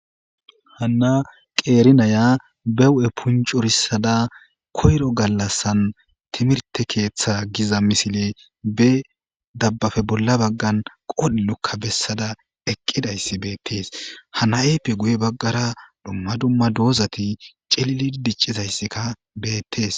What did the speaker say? hana qeerinaya bewu7e puncurissada koyro gallassan timirte keeththa giza misile be dabbafe bolla baggan qoodhilukka bessada eqqidayssi beettees hanayeppe guye baggara dumma dumma doozati celilid diccizayssikka beettees